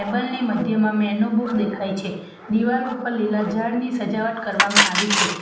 Table ની મધ્યમાં menu book દેખાય છે દિવાલ ઉપર લીલા ઝાડની સજાવટ કરવામાં આવી છે.